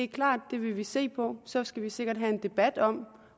klart at vi vil se på det og så skal vi sikkert have en debat om